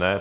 Ne.